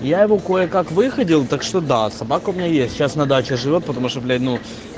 я его кое-как выходил так что да собака у меня есть сейчас на даче живёт потому что блять ну